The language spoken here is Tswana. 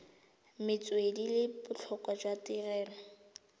metswedi le botlhokwa jwa tirelo